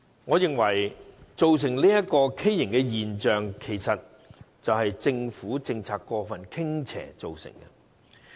我認為這畸形現象，是政府政策過分傾斜所造成的。